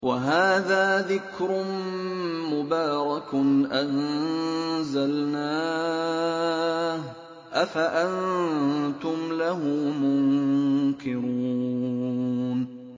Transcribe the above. وَهَٰذَا ذِكْرٌ مُّبَارَكٌ أَنزَلْنَاهُ ۚ أَفَأَنتُمْ لَهُ مُنكِرُونَ